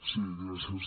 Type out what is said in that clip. sí gràcies